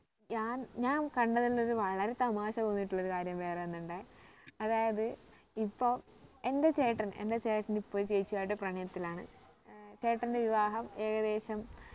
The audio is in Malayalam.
ഞാൻ ഞാൻ കണ്ടതിലുള്ളൊരു വളരെ തമാശ തോന്നിയിട്ടുള്ള ഒരു കാര്യം വേറെ ഒന്ന് ഇണ്ടേ അതായത് ഇപ്പൊ എന്റെ ചേട്ടൻ എന്റെ ചേട്ടൻ ഇപ്പൊ ഒരു ചേച്ചിയുമായിട്ട് പ്രണയത്തിലാണ് ഏർ ചേട്ടന്റെ വിവാഹം ഏകദേശം